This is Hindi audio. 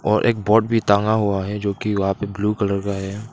और एक बोर्ड भी टागा हुआ है जो कि वहां पर ब्लू कलर का है।